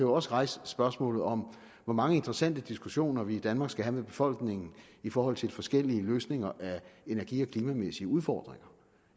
også rejse spørgsmålet om hvor mange interessante diskussioner vi i danmark skal have med befolkningen i forhold til de forskellige løsninger af energi og klimamæssige udfordringer